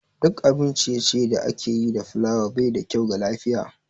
Duk abin ciye-ciye da ake yi da fulawa baida kyau ga lafiya